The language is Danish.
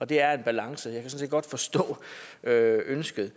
det er jo en balancegang kan set godt forstå ønsket